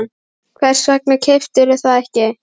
Hvers vegna keyptirðu það ekki?